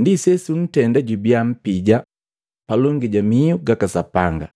ndi sesu ntenda jubia mpija palongi ja mihu gaka Sapanga.